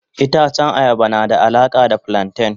Itacen ayaba na da alaka da flanten.